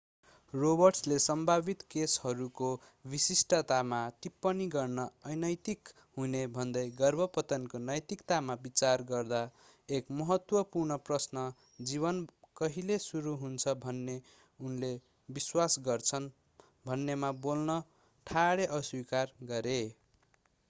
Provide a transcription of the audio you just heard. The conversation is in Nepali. रोबर्ट्सले सम्भावित केसहरूको विशिष्टतामा टिप्पणी गर्न अनैतिक हुने भन्दै गर्भपतनको नैतिकतामा विचार गर्दा एक महत्त्वपूर्ण प्रश्न जीवन कहिले सुरु हुन्छ भन्ने उनले विश्वास गर्छन् भन्नेमा बोल्न ठाडै अस्वीकार गरे